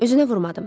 Özünə vurmadım.